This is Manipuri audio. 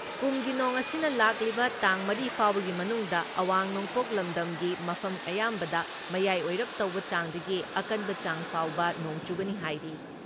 ꯀꯨꯝꯒꯤ ꯅꯣꯡ ꯑꯁꯤꯅ ꯂꯥꯛꯂꯤꯕ ꯇꯥꯡ ꯃꯔꯤ ꯐꯥꯎꯕꯒꯤ ꯃꯅꯨꯡꯗ ꯑꯋꯥꯡ ꯅꯣꯡꯄꯣꯛ ꯂꯝꯗꯝꯒꯤ ꯃꯐꯝ ꯑꯌꯥꯝꯕꯗ ꯃꯌꯥꯏ ꯑꯣꯏꯔꯞ ꯇꯧꯕ ꯆꯥꯡꯗꯒꯤ ꯑꯀꯟꯕ ꯆꯥꯡ ꯐꯥꯎꯕ ꯅꯣꯡ ꯆꯨꯒꯅꯤ ꯍꯥꯏꯔꯤ ꯫